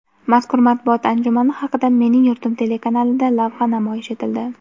Mazkur matbuot anjumani haqida "Mening yurtim" telekanalida lavha namoyish etildi.